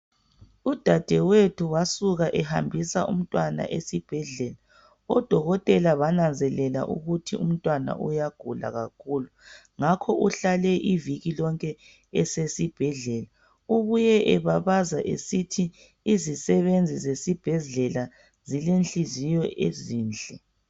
Udadewethu wasuka ehambisa umntwana esibhedlela. Odokotela bananzelela ukuthi umntwana uyagula kakhulu. Ngakho uhlale iviki yonke esibhedlela. Ubuye ebabaza esithi izisebenzi zesibhedlela, zilenhliziyo ezinhle.